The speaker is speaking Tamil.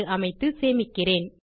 என்று அமைத்து சேமிக்கிறேன்